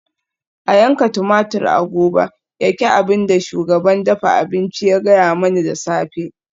A yanka tumatur a gobe yaki abin da shugaban dafa abinci ya gaya mani da safe